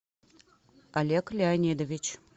олег леонидович